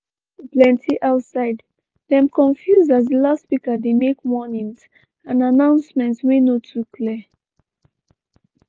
pipu plenty outside dem confuse as di loudspeaker dey make warnings and announcement wey no too clear.